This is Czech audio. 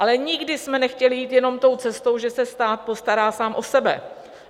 Ale nikdy jsme nechtěli jít jenom tou cestou, že se stát postará sám o sebe.